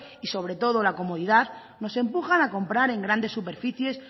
y sobre todo la comodidad nos empujan a comprar en grandes superficies